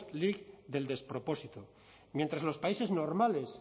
league del despropósito mientras en los países normales